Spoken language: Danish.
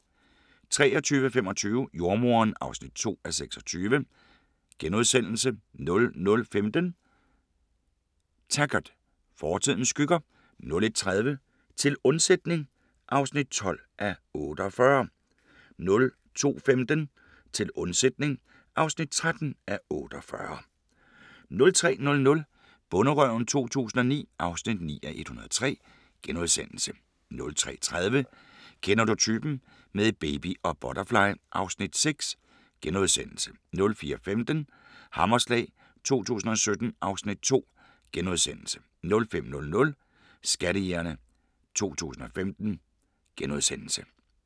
23:25: Jordemoderen (2:26)* 00:15: Taggart: Fortidens skygger 01:30: Til undsætning (12:48) 02:15: Til undsætning (13:48) 03:00: Bonderøven 2009 (9:103)* 03:30: Kender du typen? - med baby og butterfly (Afs. 6)* 04:15: Hammerslag 2017 (Afs. 2)* 05:00: Skattejægerne 2015 *